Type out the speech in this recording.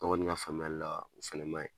Ne kɔni ka faamuyali o fɛnɛ ma ɲi.